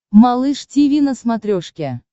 малыш тиви на смотрешке